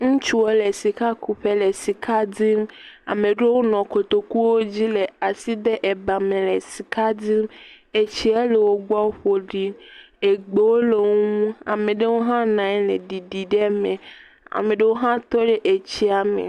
Ŋutsuwo le sikakuƒe le sika dim. Ama ɖewo nɔ kotokuwo dzi le asi de ebame le sika dim. Etsiɛ le wogbɔ ƒo ɖi. Egbewo le wo ŋu. Ama ɖewo hã na anyi le ɖiɖi ɖe eme. Ame ɖewo hã tɔ ɖe etsiɛ me.